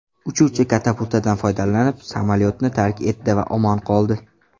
Uchuvchi katapultadan foydalanib, samolyotni tark etdi va omon qoldi.